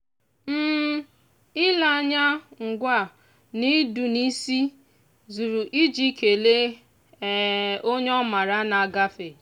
ile anya ngwa na ịdụ n'isi zuru iji kelee onye ọ maara na-agafe.